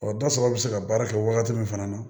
Ɔ dɔ sɔrɔ bɛ se ka baara kɛ wagati min fana na